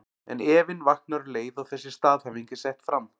En efinn vaknar um leið og þessi staðhæfing er sett fram.